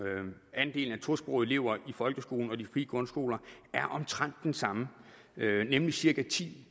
andelen af tosprogede elever i folkeskolen og de frie grundskoler er omtrent den samme nemlig cirka ti